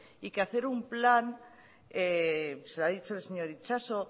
y que hacer un plan se lo ha dicho el señor itxaso